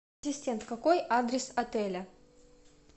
ассистент какой адрес отеля